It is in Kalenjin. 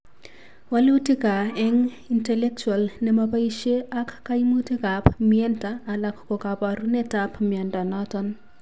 Walutika eng' intellectual ne mopoisie ak kaymuutikap myenta alak ko kaabarunetap mnyondo noton.